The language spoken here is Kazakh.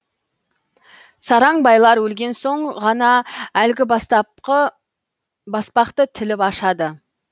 сараң байлар өлген соң ғана әлгі баспақты тіліп ашады